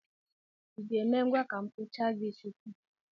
I ga-eme ngwa ka m kpụchaa gị isi taa?